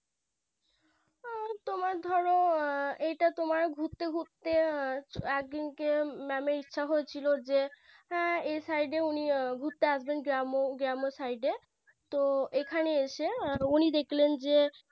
তোমার ধরা এটা তোমার ঘুরতে ঘুরতে একদিনকে Mam এর ইচ্ছে হয়েছিল যে EI Site এ উনি ঘুরতে আসবেন যেম যেম Site এ তো এখানে এসে উনি দেখলেন যে